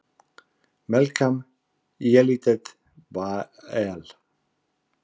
Melkam Yelidet Beaal!